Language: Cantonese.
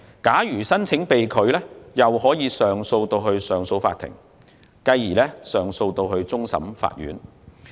假如申請被拒，申請人可以向上訴法庭上訴，繼而可以向終審法院上訴。